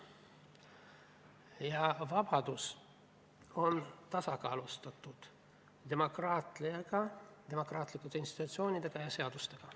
Ja vabadus on tasakaalustatud demokraatlike institutsioonide ja seadustega.